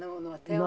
No no hotel?